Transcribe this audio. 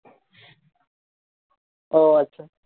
ও আচ্ছা